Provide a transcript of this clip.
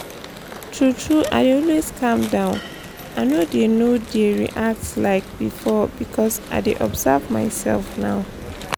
true true i dey always calm down i no dey no dey react like before because i dey observe my self now